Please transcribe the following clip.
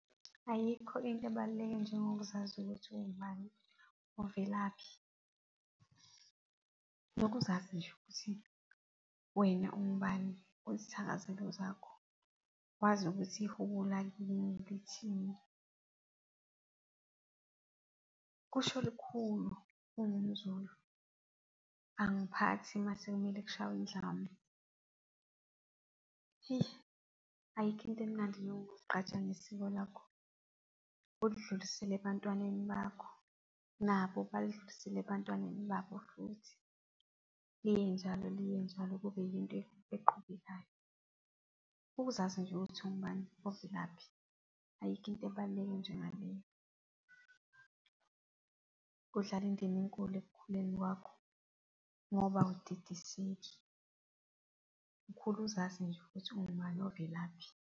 Ayikho into ebaluleke njengokuzazi ukuthi ungubani, uvelaphi, nokuzazi nje ukuthi wena ungubani uzithakazelo zakho, wazi ukuthi ihubo lakini lithini , kusho lukhulu ungumZulu. Angiphathi mase kumele kushawe indlamu ayikho into emnandi njengokuzigqaja ngesiko lakho ulidlulisele ebantwaneni bakho, nabo balidlulisele ebantwaneni babo futhi, liye njalo, liye njalo kube yinto eqhubekayo. Ukuzazi nje ukuthi uwubani ovelaphi ayikho into ebaluleke njengaleyo . Kudlala indima enkulu ekukhuleni kwakho ngoba awudidiseki, ukhula uzazi nje ukuthi ungubani ovelaphi.